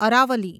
Aravalli